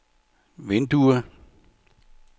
vindue